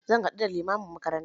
Zan haɗu da limamin makaranta